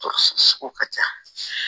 To so sugu ka ca